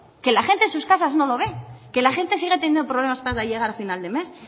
que la gente en sus casas no lo ve que la gente sigue teniendo problemas para llegar a final de mes